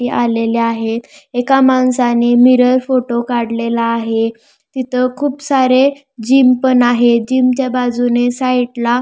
ये आलेले आहेत एका माणसाने मिरर फोटो काढलेला आहे तिथ खूप सारे जिम पण आहे जिमच्या बाजूने साईटला --